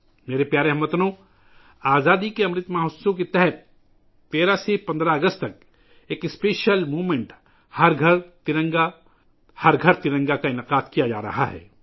میرے پیارے ہم وطنو، آزادی کے امرت مہوتسو کے تحت 13 سے 15 اگست تک ایک خصوصی تحریک '' ہر گھر ترنگا، ہر گھر ترنگا '' کا انعقاد کیا جا رہا ہے